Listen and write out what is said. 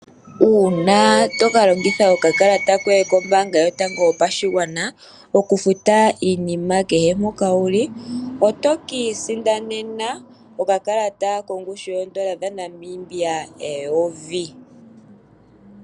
Uuna to ka longitha okakalata koye kombaanga yotango yopashigwana okufuta iinima kehe mpoka wu li oto ka isindanena okakalata kongushu yooN$ 1000.